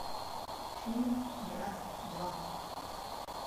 фильм брат два